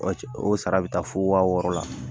Wa o sara bɛ taa fo waa wɔɔrɔ la